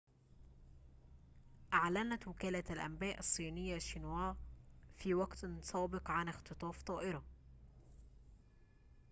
أعلنت وكالة الأنباء الصينية شينوا في وقت سابق عن اختطاف طائرة